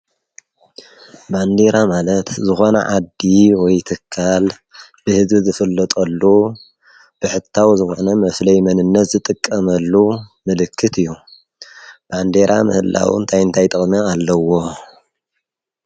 ባንዴራ ማለት ዝኾነ ዓዲ ወይትካል ብሕዚ ዝፍለጠሉ ብሕታው ዝኾነ መፍለይ መንነት ዝጥቀመሉ ምልክት እዩ ባንዴራ ምህላውን ኣይንታይ ጠቕሜ ኣለዎ